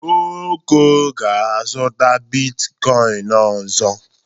Oko ga-azụta bitkoịn ọzọ.